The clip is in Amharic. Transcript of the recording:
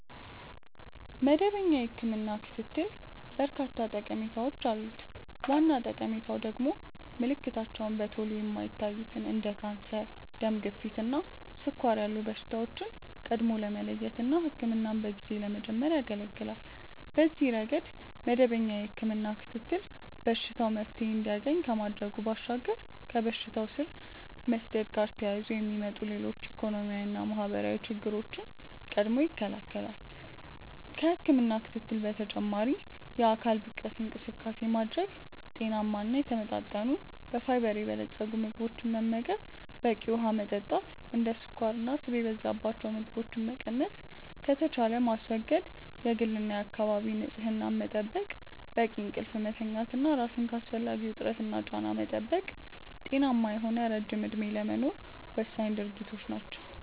መደበኛ የህክምና ክትትል በርካታ ጠቀሜታዎች አሉት። ዋና ጠቀሜታው ደግሞ ምልክታቸው በቶሎ የማይታዩትን እንደ ካንሰር፣ ደም ግፊት እና ስኳር ያሉ በሽታዎችን ቀድሞ ለመለየት እና ህክምናን በጊዜ ለመጀመር ያገለገላል። በዚህ ረገድ መደበኛ የህክምና ክትትል በሽታው መፍትሔ እንዲያገኝ ከማድረጉ ባሻገር ከበሽታው ስር መስደድ ጋር ተያይዞ የሚመጡ ሌሎች ኢኮኖሚያዊና ማህበራዊ ችግሮችን ቀድሞ ይከለከላል። ከህክምና ክትትል በተጨማሪ የአካል ብቃት እንቅስቃሴ ማድረግ፣ ጤናማ እና የተመጣጠኑ በፋይበር የበለፀጉ ምግቦችን መመገብ፣ በቂ ውሀ መጠጣት፣ እንደ ስኳርና ስብ የበዛባቸው ምግቦችን መቀነስ ከተቻለም ማስወገድ፣ የግልና የአካባቢ ንጽህና መጠበቅ፣ በቂ እንቅልፍ መተኛት እና ራስን ከአላስፈላጊ ውጥረትና ጫና መጠበቅ ጤናማ የሆነ ረጅም እድሜ ለመኖር ወሳኝ ድርጊቶች ናቸው።